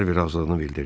Harvi razılığını bildirdi.